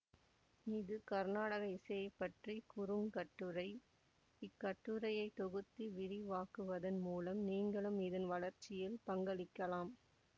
இது கருநாடக இசையைப் பற்றிய குறுங்கட்டுரை இக்கட்டுரையை தொகுத்து விரிவாக்குவதன் மூலம் நீங்களும் இதன் வளர்ச்சியில் பங்களிக்கலாம்